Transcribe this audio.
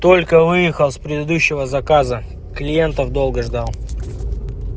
только выехал с предыдущего заказа клиентов долго ждал